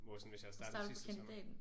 Hvor sådan hvis jeg havde startet sidste sommer